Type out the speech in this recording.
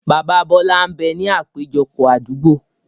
Bàbá Bọlá ń bẹ ní àpéjọpọ̀ Àdúgbo